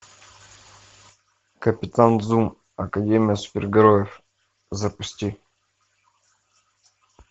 капитан зум академия супергероев запусти